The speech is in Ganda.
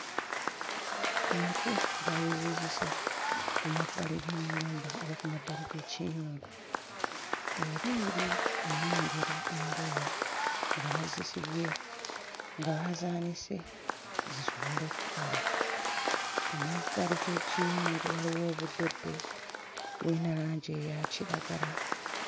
Enku baazizizise ku mabbali g'ennyumba oba ku mabbali g'ekiyungu era eri nnengera engoye nga bazisibye nga baazaanise zisobole okkala ku mabbali g'ekiyungu waliwo obuddoddo buyina langi eya kiragala.